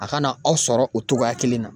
A kana aw sɔrɔ o togoya kelen na.